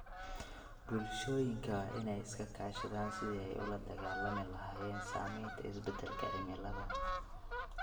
Bulshooyinka waa in ay iska kaashadaan sidii ay ula dagaallami lahaayeen saamaynta isbeddelka cimilada.